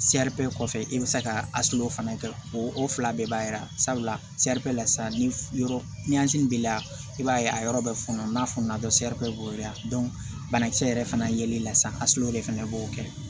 kɔfɛ i bi se ka fana kɛ o fila bɛɛ b'a yira sabula la sa ni yɔrɔ ni yansi b'i la i b'a ye a yɔrɔ bɛ fununnan n'a fununa dɔrɔn b'o la banakisɛ yɛrɛ fana yeli la san de fɛnɛ b'o kɛ